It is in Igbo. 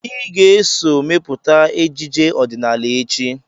Ị ga-eso mepụta ejije ọdịnala echi!